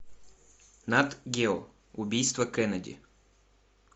нат гео убийство кеннеди